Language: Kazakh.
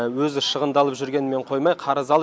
өзі шығындалып жүргенімен қоймай қарыз алып